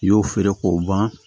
I y'o feere k'o ban